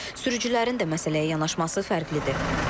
Sürücülərin də məsələyə yanaşması fərqlidir.